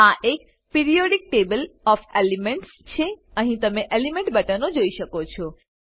આ એક periodic table of elements છે અહીં તમે એલીમેંટ બટનો જોઈ શકો છો